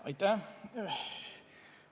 Aitäh!